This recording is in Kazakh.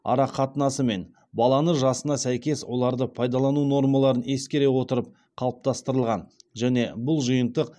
арақатынасы мен баланың жасына сәйкес оларды пайдалану нормаларын ескере отырып қалыптастырылған және бұл жиынтық